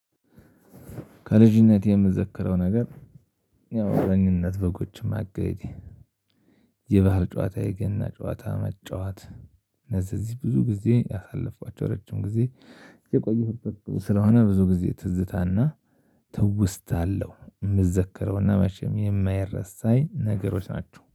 ከልጅነቴ የምዘክረው ነገር ያው እረኝነት በጎችም ማገድ የባህል ጨዋታ የገና ጨዋታ መጫወት እነዚህ እዚህ ብዙ ጊዜ ያሳለፍኳቸው ረጅም ጊዜ የቆየሁበት ስለሆነ ብዙ ጊዜ ትዝታና ትውስታለሁ የምዘከረውና መሸም የማይረሳኝ ነገሮች ናቸው